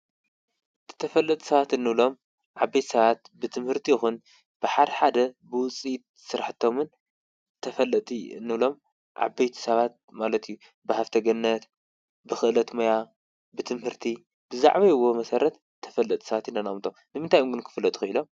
ተፈለጥ ሰባት እኖሎም ዓበይት ሰባት ብትምህርቲ ኹን ብሓድ ሓደ ብውፂት ሥራሕቶምን ተፈለቲ እኑሎም ዓበይት ሰባት ማለትዩ ብሃብተ ገነት ብኽእለት መያ ብትምህርቲ ብዛዕውይዎ መሠረት ተፈለጥሳባት ይነናምቶ ንምንታይምጕን ክፍለትኹ ኢሎም